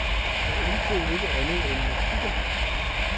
Jeg ænsede ikke andet end musikken.